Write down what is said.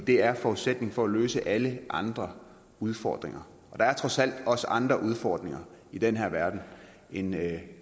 det er forudsætningen for at løse alle andre udfordringer der er trods alt også andre udfordringer i den her verden end